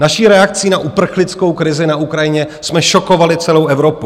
Naší reakcí na uprchlickou krizi na Ukrajině jsme šokovali celou Evropu.